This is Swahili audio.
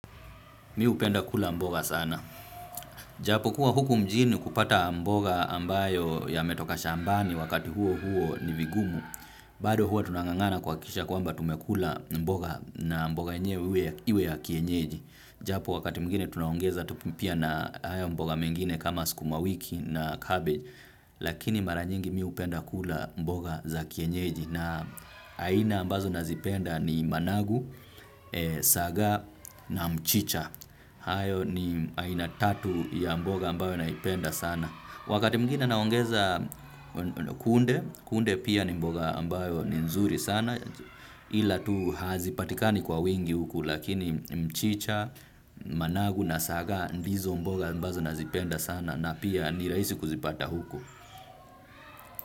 Mi hupenda kula mboga sana. Japo kuwa huku mjini kupata mboga ambayo yametoka shambani wakati huo huo ni vigumu. Bado huo tunang'ang'ana kuhakikisha kwamba tumekula mboga na mboga yenyewe iwe ya kienyeji. Japo wakati mwingine tunaongeza tupupia na haya mboga mengine kama sukumawiki na cabbage. Lakini mara nyingi mi hupenda kula mboga za kienyeji. Na aina ambazo nazipenda ni managu, saga na mchicha. Hayo ni aina tatu ya mboga ambayo naipenda sana. Wakati mwegine naongeza kunde. Kunde pia ni mboga ambayo ni nzuri sana. Ila tu hazipatikani kwa wingi huku. Lakini mchicha, managu na saga ndizo mboga ambazo nazipenda sana. Na pia ni rahisi kuzipata huku.